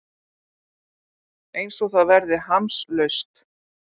Einsog það verði hamslaust.